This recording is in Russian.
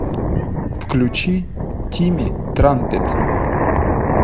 включи тимми трампет